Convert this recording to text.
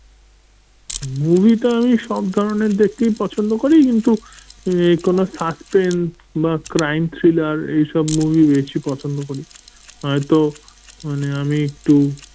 movie টা আমি সব ধরনের দেখতেই পছন্দ করি কিন্তু এই কোন suspense বা crime thriller এই সব movie বেশি পছন্দ করি। হয়তো মানে আমি একটু